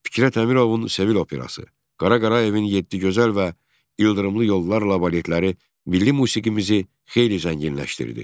Fikrət Əmirovun Sevil operası, Qara Qarayevin yeddi gözəl və ildırımlı yollarla baletləri milli musiqimizi xeyli zənginləşdirdi.